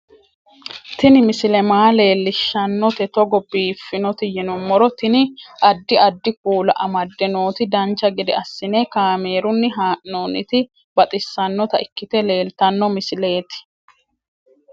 Tini misile maa leellishshannote togo biiffinoti yinummoro tini. addi addi kuula amadde nooti dancha gede assine kaamerunni haa'noonniti baxissannota ikkite leeltanno misileeti